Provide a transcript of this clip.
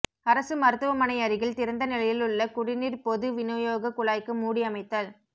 அரசு மருத்துவமனையருகில் திறந்த நிலையிலுள்ள குடிநீர் பொது வினியோகக் குழாய்க்கு மூடி அமைத்தல்